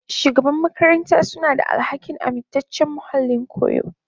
Shugaban makaranta suna da alhakin amintaccen muhallin koyo.